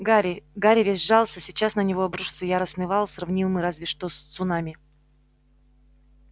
гарри гарри весь сжался сейчас на него обрушится яростный вал сравнимый разве что с цунами